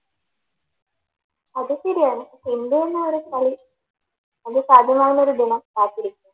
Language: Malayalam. അത് ശരിയാണ് ഇന്ത്യയുടെ ഒരു കളി അത് സാധ്യമാകുന്നൊരു ദിനം കാത്തിരിക്കാം